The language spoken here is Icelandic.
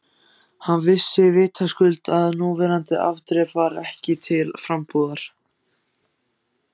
Hann vissi vitaskuld að núverandi afdrep var ekki til frambúðar.